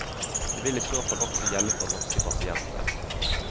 Det vil i så fall også gjelde for norske pasienter.